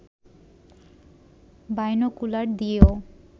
binocular দিয়েও